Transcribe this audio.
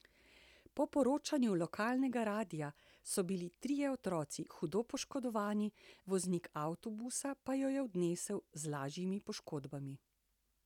Po poročanju lokalnega radia so bili trije otroci hudo poškodovani, voznik avtobusa pa jo je odnesel z lažjimi poškodbami.